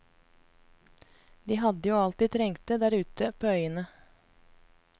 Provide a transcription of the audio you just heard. De hadde jo alt de trengte der ute på øyene.